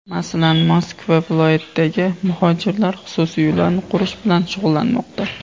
Masalan, Moskva viloyatidagi muhojirlar xususiy uylarni qurish bilan shug‘ullanmoqda.